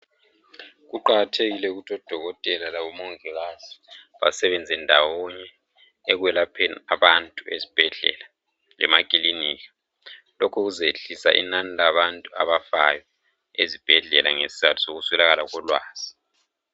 Kuqakathekile ukuthi odokotela laboongikazi basebenze ndawonye ekwelapheni abantu ezibhedlela lemakilinika lokhu kuzayehlisa inani labantu abafayo ezibhedlela ngesizatho sokuswelakala kolwazi